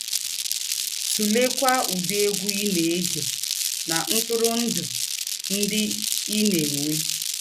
Tùlèkwà ǔdị̀ ègwú̄ ì na - ègé nà ntùrụ̀ndụ̀ ńdị ì na - ènwé.